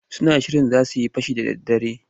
Suna shirin za su yi fashi da daddare.